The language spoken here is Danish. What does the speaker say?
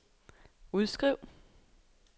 udskriv